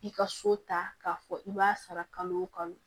I ka so ta k'a fɔ i b'a sara kalo o kalo